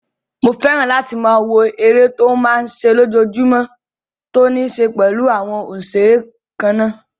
Mo fẹ́ràn láti máa wo eré tó máa n ṣe lójojúmọ́ tó ní ṣe pẹ̀lú àwọn òṣeré kannáà